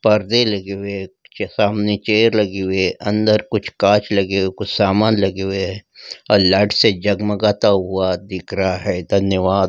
पर्दे लगे हुए हैं के सामने चेयर लगी हुई हैं अंदर कुछ कांच लगे हैं कुछ सामान लगे हुए हैं और लाइट से जगमगाता हुआ दिख रहा है धन्यवाद।